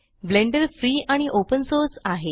blender free आणि open source आहे